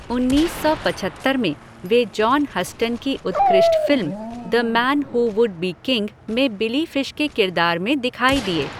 उन्नीस सौ पछत्तर में वे जॉन हस्टन की उत्कृष्ट film The Man Who Would Be King में बिली फिश के किरदार में दिखाई दिए।